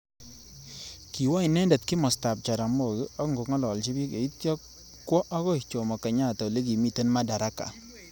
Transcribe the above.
Kiwo inendet kimosta ab Jaramogi ako ngololji bik atya kwo akoi Jommo kenyatta olekimitei Madaraka.